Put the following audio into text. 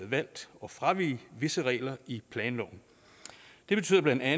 valgt at fravige visse regler i planloven det betyder bla at